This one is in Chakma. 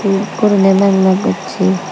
el gurine meg meg gosse.